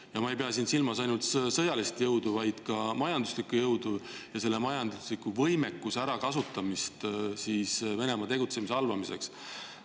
Ja ma ei pea siin silmas ainult sõjalist jõudu, vaid ka majanduslikku jõudu ja majandusliku võimekuse ärakasutamist Venemaa tegutsemise halvamiseks.